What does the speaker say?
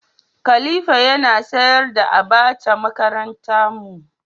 khalifa Yana sayar da abacha makaranta mu.